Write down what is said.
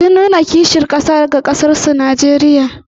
Sun nuna kishin ƙasa ga ƙasarsu Najeriya.